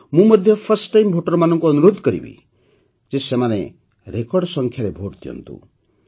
ମୁଁ ମଧ୍ୟ first time Voterମାନଙ୍କୁ ଅନୁରୋଧ କରିବି ଯେ ସେମାନେ ରେକର୍ଡ ସଂଖ୍ୟାରେ ଭୋଟ ଦିଅନ୍ତୁ